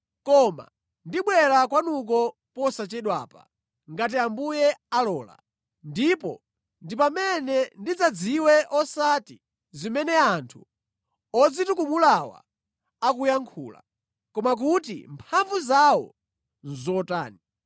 Koma ndibwera kwanuko posachedwapa, ngati Ambuye alola, ndipo ndi pamene ndidzadziwe osati zimene anthu odzitukumulawa akuyankhula, koma kuti mphamvu zawo nʼzotani.